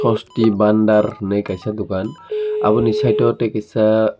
asti bandar hinui kaisa dokan aboni sayeto tei kaisa--